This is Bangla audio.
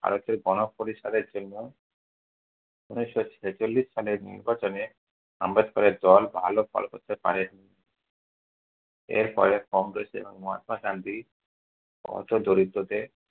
ভারতের গণপরিষদের জন্য ঊনিশশো ছেচল্লিশ সালে নির্বাচনে আম্বেদকরের দল ভালো ফল করতে পারেনি। এর পরে কংগ্রেসের মহাত্মা গান্ধী হতদরিদ্রের